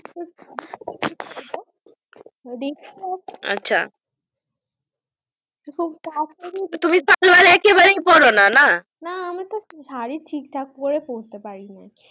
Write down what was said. দেখি আর কি আচ্ছা তুমি শাড়ী একেবারে পড়োনা না না আমি তো শাড়ী ঠিক ঠাক করে পড়তে পারিনা